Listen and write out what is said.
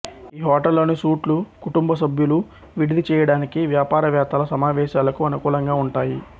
ఈ హోటల్లోని సూట్లు కుటుంబ సభ్యులు విడిది చేయడానికి వ్యాపార వేత్తల సమావేశాలకు అనుకూలంగా ఉంటాయి